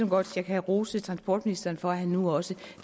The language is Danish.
godt jeg kan rose transportministeren for at han nu også